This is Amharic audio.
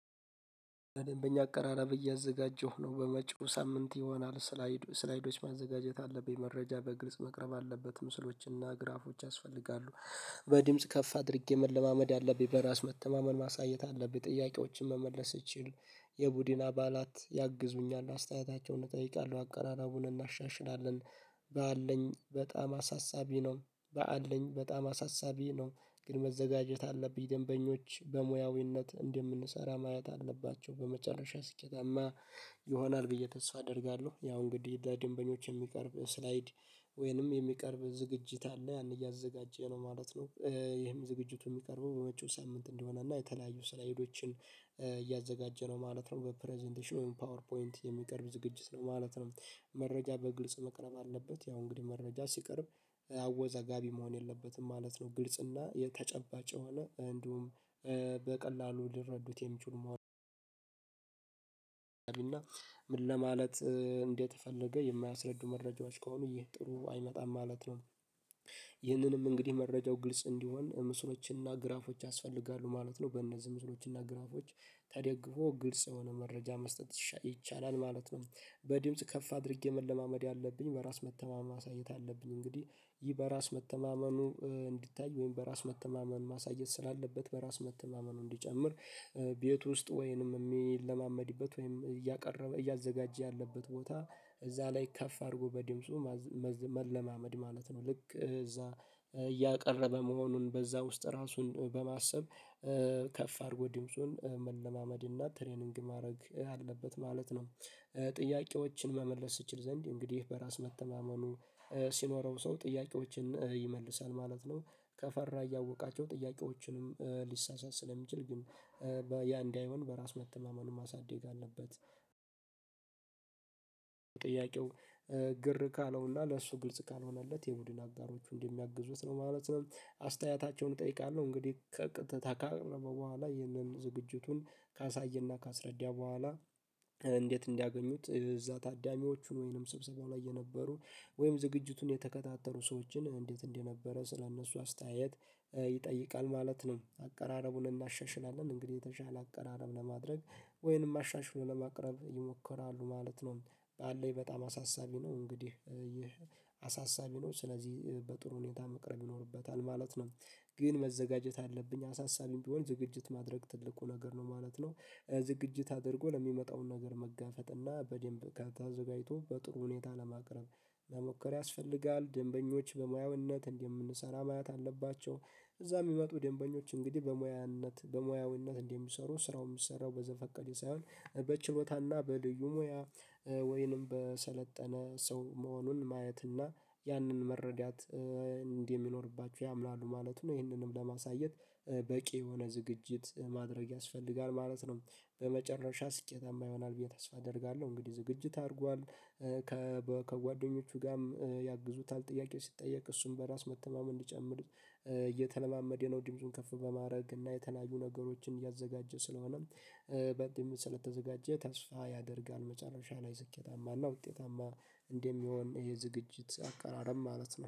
በደበኛ አቀራረብ እያዘጋጀሁ ነው በመጪው ሳምንት ይሆናል ስላይድ ስላይዶች ማዘጋጀት አለብኝ መረጃ በግልጽ መቅረብ አለበት ምስሎችና ግራፎች ያስፈልጋሉ። በድምጽ ከፍ አድርጌ መለማመድ አለብኝ በራስ መተማመን ማሳየት አለብኝ ጥያቄዎችን መመለስ እችል። የቡድን አባላት ያግዙኛል አስተያየታቸውን እጠይቃለሁ አቀራራቡን እናሻሽላለን። በአለኝ በጣም አሳሳቢ ነው። በአለኝ በጣም አሳሳቢ ነው። ግን መዘጋጀት አለብኝ ደንበኞች በሙያዊነት እንደምንሰራ ማየት አለባቸው በመጨረሻ ስኬታማ ይሆናል ብዬ ተስፋ አደርጋለሁ። ያው እንግዲህ በደንበኞች የሚቀርብ ስላይድ። ወይንም የሚቀርብ ዝግጅት አለ ያን እያዘጋጀ ነው ማለት ነው። ይሄም ዝግጅቱ ሚቀርበው በመጪው ሳምንት እንደሆነ እና የተለያዩ ስራ ሄዶችን እያዘጋጀ ነው ማለት ነው። በፕረዘንቴሽን ፓወር ፖይንት የሚቀርብ ዝግጅት ነው ማለት ነው። መረጃ በግልጽ መቅረብ አለበት ያው እንግዲህ መረጃ ሲቀርብ አወዛጋቢ መሆን የለበትም ማለት ነው። ግልጽ እና የተጨባጭ የሆነ እንዲሁም በቀላሉ ልረዱት የሚችሉ። እና ምን ለማለት እንዴት ፈልገህ የማያስረዱ መረጃዎች ከሆኑ ጥሩ አይመጣም ማለት ነው። ይህንንም እንግዲህ መረጃው ግልጽ እንዲሆን ምስሎችንና ግራፎችን ያስፈልጋሉ ማለት ነው። በእነዚህ ምስሎችና ግራፎች ተደግፎ ግልጽ የሆነ መረጃ መስጠት ይቻላል ማለት ነው። በድምጽ ከፍ አድርጌ መለማመድ ያለብኝ በራስ መተማመን ማሳየት አለብኝ። እንግዲህ ይህ በራስ መተማመኑ እንዲታይ ወይም በራስ መተማመን ማሳየት ስላለበት በራስ መተማመኑን እንዲጨምር። ቤት ውስጥ ወይንም ሚለማመድበት ወይንም እያቀረበ እያዘጋጀ ያለበት ቦታ። እዛ ላይ ከፍ አርጎ በድምፁ መለማመድ ማለት ነው። ልክ እዛ እያቀረበ መሆኑን በዛ ውስጥ ራሱን በማሰብ። ከፍ አድርጎ ድምጽን መለማመድ እና ትሬኒንግ ማድረግ አለበት ማለት ነው። ጥያቄዎችን መመለስ ስትችል ዘንድ እንግዲህ በራስ መተማመኑ ሲኖረው ሰው ጥያቄዎችን ይመልሳል ማለት ነው። ከፈራ እያወቃቸው ጥያቄዎችንም ሊሳሳት ስለሚችል ግን በያ እንዳይሆን በራስ መተማመኑን ማሳደግ አለበት። ጥያቄው ግር ካለውና ለሱ ግልጽ ካልሆነለት የቡድን አጋሮቹ እንደ ሚያግዙት ነው ማለት ነው። አስተያየታቸውን እጠይቃለሁ እንግዲህ ከ ካቀረበው በኋላ ይህንን ዝግጅቱን ካሳየና ካስረዳ በኋላ። እንዴት እንዲያገኙት እዛ ታዳሚዎቹን ወይንም ሰብሰባው ላይ የነበሩ ወይም ዝግጅቱን የተከታተሉ ሰዎችን እንዴት እንደነበረ ስለእነሱ አስተያየት ይጠይቃል ማለት ነው። አቀራረቡን እናሻሽላለን እንግዲህ የተሻለ አቀራረብ ለማድረግ ወይንም አሻሽሎ ለማቅረብ ይሞከራሉ ማለት ነው። ባለይ በጣም አሳሳቢ ነው እንግዲህ ይህ አሳሳቢ ነው ስለዚህ በጥሩ ሁኔታ መቅረብ ይኖርበታል ማለት ነው። ግን መዘጋጀት አለብኝ አሳሳቢም ቢሆን ዝግጅት ማድረግ ትልቁ ነገር ነው ማለት ነው። ዝግጅት አድርጎ ለሚመጣውን ነገር መጋፈጥ እና በደንብ ከታዘጋጅቶ በጥሩ ሁኔታ ለማቅረብ መሞከር ያስፈልጋል። ደንበኞች በሙያውነት እንደምንሰራ ማያት አለባቸው እዛ ሚመጡ ደንበኞች እንግዲህ በሙያነት በሙያዊነት እንደሚሰሩ ስራውን ሚሰራው በዘፈቀደ ሳይሆን በችሎታና በልዩ ሙያ። ወይንም በሰለጠነ ሰው መሆኑን ማየትና ያንን መረዳት እንደ ሚኖርባችሁ ያምናሉ ማለቱ ነው። ይህንንም ለማሳየት በቂ የሆነ ዝግጅት ማድረግ ያስፈልጋል ማለት ነው። በመጨረሻ ስኬታማ ይሆናል ብዬ ተስፋ አደርጋለሁ። እንግዲህ ዝግጅት አርጓል ከጓደኞቹ ጋ ም ያግዙታል ጥያቄ ሲጠየቅ እሱም በራስ መተማመን እንዲጨምር እየተለማመደ ነው ድምጹን ከፍ በማድረግ እና የተናጁ ነገሮችን እያዘጋጀ ስለሆነ። በድምጽ ስለተዘጋጀ ተስፋ ያደርጋል። መጨረሻ ላይ ስኬታማና ውጤታማ እንደሚሆን ይሄ ዝግጅት አቀራረብ ማለት ነው